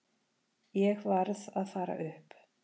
Ég varð að fara upp.